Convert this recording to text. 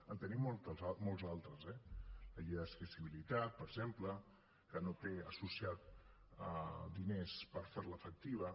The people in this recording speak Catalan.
en tenim molts altres eh la llei d’accessibilitat per exemple que no té associats diners per fer la efectiva